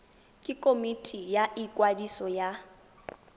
ke komiti ya ikwadiso ya